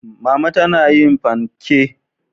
mama tana yin fanke.